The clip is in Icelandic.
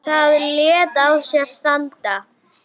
Það lét á sér standa.